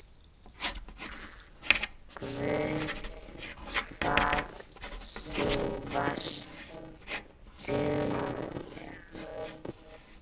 Guð hvað þú varst dugleg.